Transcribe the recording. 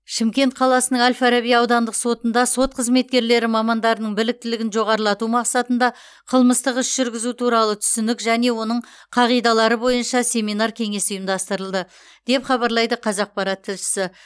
шымкент қаласының әл фараби аудандық сотында сот қызметкерлері мамандарының біліктілігін жоғарылату мақсатында қылмыстық іс жүргізу туралы түсінік және оның қағидалары бойынша семинар кеңес ұйымдастырылды деп хабарлайды қазақпарат тілшісі